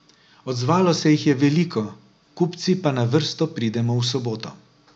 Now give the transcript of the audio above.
Odzvalo se jih je veliko, kupci pa na vrsto pridemo v soboto.